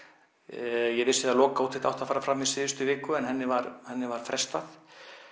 ég veit að lokaúttekt átti að fara fram í síðustu viku en henni var henni var frestað